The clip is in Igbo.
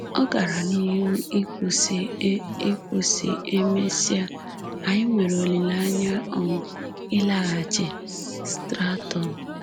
Ọ gara n’ihu ikwu sị: “E ikwu sị: “E mesịa, anyị nwere olileanya um ịlaghachi Stratton.